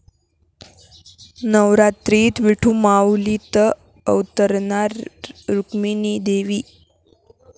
नवरात्रीत 'विठुमाऊली'त अवतरणार रुक्मिणी देवी